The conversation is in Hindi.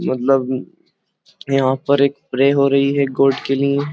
मतलब म्म यहाँ पर एक प्रे हो रही है गॉड के लिए।